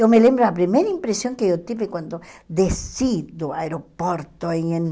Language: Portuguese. Eu me lembro da primeira impressão que eu tive quando desci do aeroporto em em